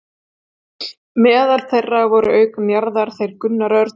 Meðal þeirra voru auk Njarðar þeir Gunnar Örn